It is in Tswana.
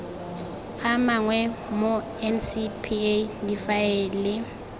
a mangwe mo ncpa difaele